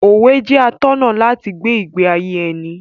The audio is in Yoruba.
Òwe jẹ́ atọ́nà láti gbé ìgbé ayé ẹni.